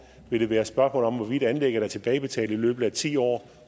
vil det være et spørgsmål om hvorvidt anlægget er tilbagebetalt i løbet af ti år